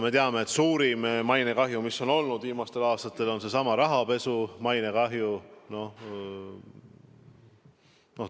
Me teame, et suurim mainekahju, mis on olnud viimastel aastatel, on seesama rahapesu mainekahju.